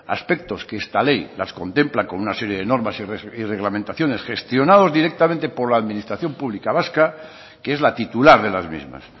aspectos que esta ley las contempla con una serie de normas y reglamentaciones gestionados directamente por la administración pública vasca que es la titular de las mismas